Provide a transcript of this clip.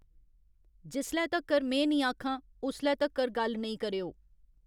जिसले तगर में नेईं आखां उसले तगर गल्ल नेईं करेओ